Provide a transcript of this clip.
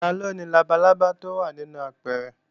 Taló ni labalábá tó wà nínú apẹ̀rẹ̀?